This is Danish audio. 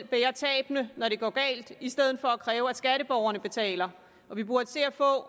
bære tabene når det går galt i stedet for at kræve at skatteborgerne betaler vi burde se at få